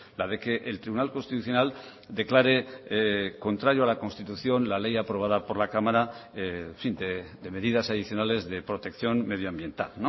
la de que el tribunal constitucional declare contrario a la constitución la ley aprobada por la cámara de medidas adicionales de protección medioambiental